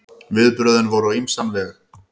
Viðbrögðin voru á ýmsan veg.